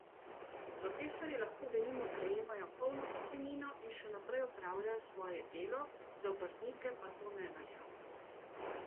Profesorji lahko denimo prejemajo polno pokojnino in še naprej opravljajo svoje delo, za obrtnike pa to ne velja.